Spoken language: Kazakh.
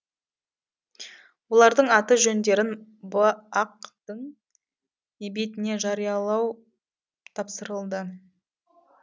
олардың аты жөндерін бақ тың бетіне жариялау тапсырылды